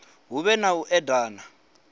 hu vhe na u edana